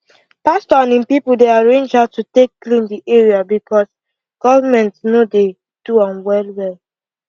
pastor and im people dey arrange how to take clean the area because government no dey do am wellwell